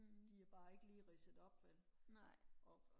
de er bare ikke lige ridset op vel